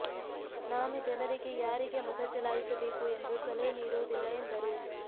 ನಾನು ಜನರಿಗೆ ಯಾರಿಗೆ ಮತ ಚಲಾಯಿಸಬೇಕು ಎಂದು ಸಲಹೆ ನೀಡುವುದಿಲ್ಲ ಎಂದರು